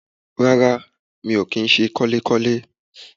Rárá mi ò kí ń se kọ́lékọ́lé